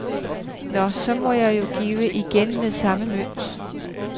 Nå, så må jeg jo give igen med samme mønt.